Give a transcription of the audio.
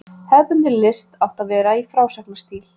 Hefðbundin list átti að vera í frásagnarstíl.